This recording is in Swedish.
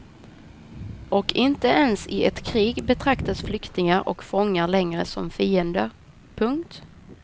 Och inte ens i ett krig betraktas flyktingar och fångar längre som fiender. punkt